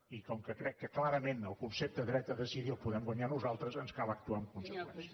i com que crec que clarament el concepte dret a decidir el podem guanyar nosaltres ens cal actuar en conseqüència